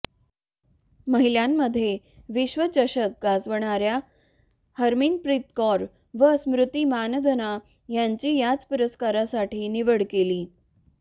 महिलांमध्ये विश्वचषक गाजवाणाऱया हरमनप्रीत कौर व स्मृती मानधना यांची याच पुरस्कारासाठी निवड केली